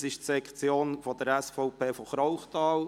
Es ist die SVP-Sektion aus Krauchthal.